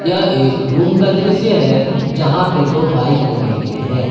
यह एक रूम का दृश्य है जहां पे दो बाइक लगाई गई है।